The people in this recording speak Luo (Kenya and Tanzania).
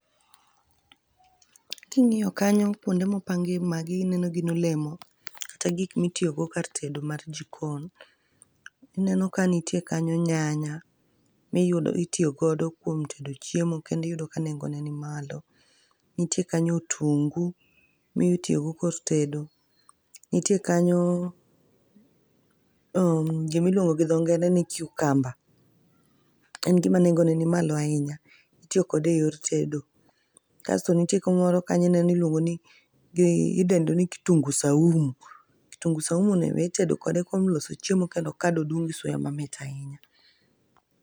King'iyo kanyo, kwonde mopangie magi ineno gin olemo kata gik mitiyogo kar tedo mar jikon, ineno ka nitie kanyo nyanya, mitiyo godo kuom tedo chiemo kendo iyudo ka nengone ni malo, niti kanyo otungu mitiyogo kor tedo, nitie kanyo, gimiluongo gi dho ngere ni cucumber, en gima nengone nimalo ahinya, itiyo kode eyor tedo, Kasto nitie moro miluongoni, kitungu saumu, kitungu saumuni be itedo kode kuom loso chiemo kendo kado dum gi suya mamit ahinya.